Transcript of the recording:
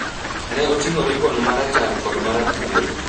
ne oting’o ribon ma rachar kod ma rathuol.